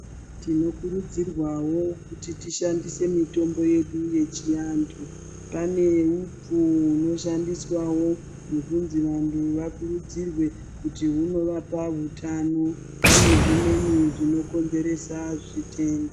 Tinokurudzirwawo kuti tishandise mitombo yedu yechiantu, pane upfu unoshandiswawo hwokunzi vantu vakurudzirwe kuti hunovapa utano, pane zvimweni zvinokonzeresa zvitenda.